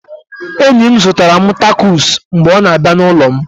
Enyi m zụtara m tacos mgbe ọ na-abịa n'ụlọ m